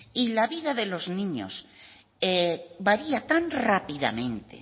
y la vida de los niños varía tan rápidamente